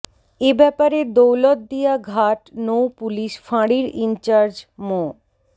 এ ব্যাপারে দৌলতদিয়া ঘাট নৌ পুলিশ ফাঁড়ির ইনচার্জ মো